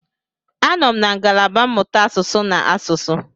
Anọ m na ngalaba mmụta asụsụ na asụsụ.